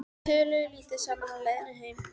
Þeir töluðu lítið saman á leiðinni heim.